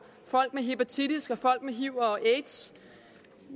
folk med hepatitis og folk med hiv og aids